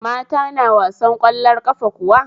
Mata na wasar ƙwallon ƙafa kuwa?